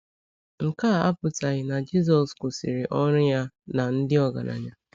Nke a apụtaghị na Jisọs kwụsịrị ọrụ ya na ndị ọgaranya.